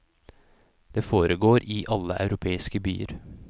Det foregår i alle europeiske byer.